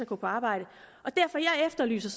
gå på arbejde derfor efterlyser